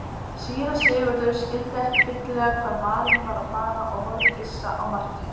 Síra Sigurður skildi ekki fyllilega hvað maðurinn var að fara og horfði hissa á Martein.